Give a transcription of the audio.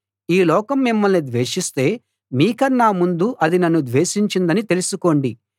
ఈ లోకం మిమ్మల్ని ద్వేషిస్తే మీకన్నా ముందు అది నన్ను ద్వేషించిందని తెలుసుకోండి